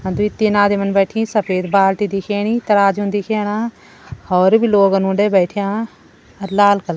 दुई तीन आदमीन बैठीं सफ़ेद बाल्टी दिखेणीतराजू दिखेणा और भी लोग उंडे बैठ्यां अर लाल कलर --